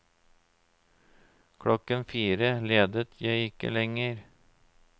Klokken fire ledet jeg ikke lengre.